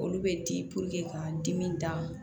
Olu bɛ di k'an dimi d'a ma